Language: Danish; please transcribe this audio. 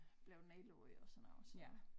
Blev nedlagt og sådan noget så